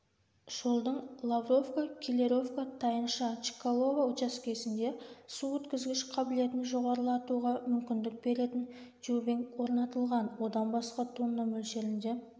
жолдың лавровка-келлеровка-тайынша-чкалово учаскесінде су өткізгіш қабілетін жоғарылатуға мүмкіндік беретін тюбинг орнатылған одан басқа тонна мөлшерінде